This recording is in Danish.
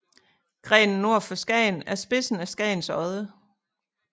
Grenen nord for Skagen er spidsen af Skagens Odde